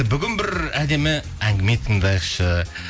бүгін бір әдемі әңгіме тыңдайықшы